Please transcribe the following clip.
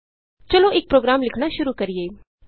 ਚਲੋ ਇਕ ਪ੍ਰੋਗਰਾਮ ਲਿਖਣਾ ਸ਼ੁਰੂ ਕਰੀਏ